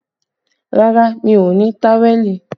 Rárá, mi ò ní táwẹ̀lì